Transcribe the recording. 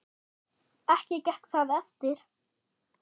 Ekki gekk það eftir.